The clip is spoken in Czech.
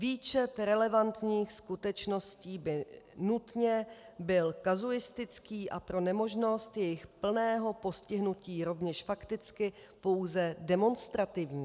Výčet relevantních skutečností by nutně byl kazuistický a pro nemožnost jejich plného postihnutí rovněž fakticky pouze demonstrativní.